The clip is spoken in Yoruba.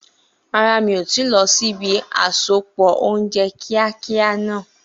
Rárá, mi ò tíì lọ sí ibi àsopọ̀ oúnjẹ kíákíá náà.